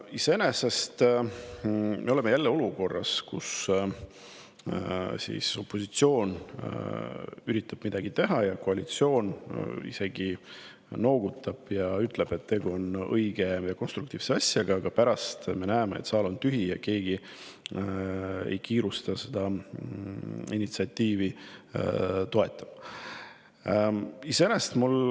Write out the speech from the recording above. Iseenesest oleme jälle olukorras, kus opositsioon üritab midagi teha ja koalitsioon isegi noogutab ja ütleb, et tegu on õige ja konstruktiivse asjaga, aga pärast me näeme, et saal on tühi ja keegi ei kiirusta seda initsiatiivi.